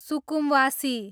सुकुमवासी